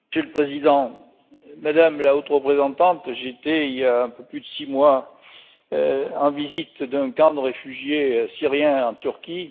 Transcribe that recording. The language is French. Monsieur le président, Madame la Haute Représentante, j'étais il y a un peu plus de six mois en visite dans un camp de réfugiés syriens en Turquie.